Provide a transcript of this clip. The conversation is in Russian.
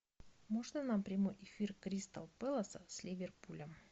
можно нам прямой эфир кристал пэласа с ливерпулем